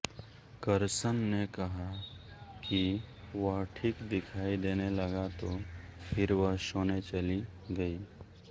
करसन ने कहा कि वह ठीक दिखाई देने लगा तो फिर वह सोने चली गयी